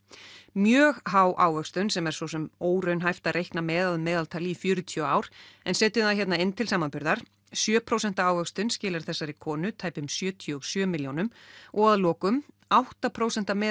mjög há ávöxtun sem er svo sem óraunhæft að reikna með að meðaltali í fjörutíu ár en setjum það hér inn til samanburðar sjö prósent ávöxtun skilar þessari konu tæpum sjötíu og sjö milljónum og að lokum átta prósent